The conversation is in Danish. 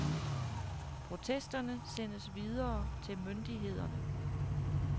Protesterne sendes videre til myndighederne.